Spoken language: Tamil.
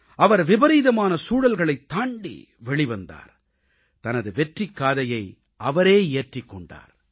அவர் விபரீதமான சூழல்களைத் தாண்டி வெளிவந்தார் தனது வெற்றிக்காதையை அவரே இயற்றிக் கொண்டார்